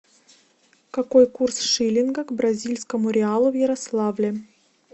какой курс шиллинга к бразильскому реалу в ярославле